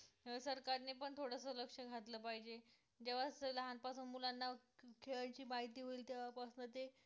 सरकारने पण थोडसं लक्ष घातलं पाहिजे जेव्हा लहान पासून मुलांना खेळाची माहिती होईल तेव्हा पासून ते